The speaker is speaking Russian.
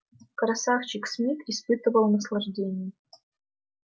красавчик смит испытывал наслаждение